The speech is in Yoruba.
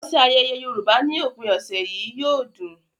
Lọ sí ayẹyẹ Yorùbá ní òpin ọ̀sẹ̀ yìí - yóò dùn!